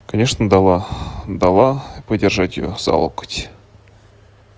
конечно дала дала подержать её за локоть